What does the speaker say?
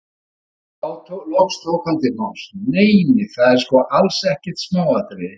Þá loks tók hann til máls: Nei, nei, það er sko alls ekkert smáatriði.